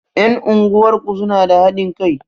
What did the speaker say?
Ƴan unguwar ku suna da haɗin kai?